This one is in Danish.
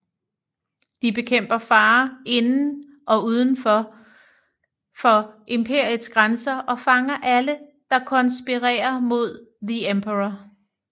De bekæmper farer inden og ude for for imperiets grænser og fanger alle der konspirerer mod The Emperor